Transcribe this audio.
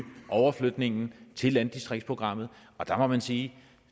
overflytningen til landdistriktsprogrammet der må man sige at